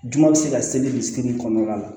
Jumɛn bɛ se ka seli dusukun kɔnɔna la